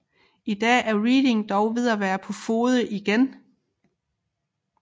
I dag er Reading dog ved at være på fode igen